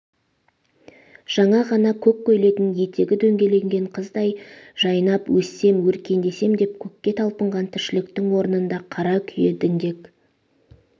жаңа ғана көк көйлегнң етег дөңгеленген қыздай жайнап өссем өркендесем деп көкке талпынған тіршіліктің орнында қара күйе діңгек